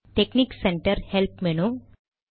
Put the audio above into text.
technique centre help menu